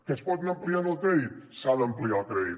que es pot anar ampliant el crèdit s’ha d’ampliar el crèdit